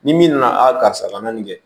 Ni min nana a karisa la nin kɛ